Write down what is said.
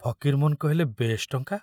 ଫକୀରମୋହନ କହିଲେ, ବେଶ ଟଙ୍କା।